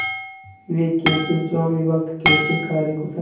वे कैसे स्वामिभक्त कैसे कार्यकुशल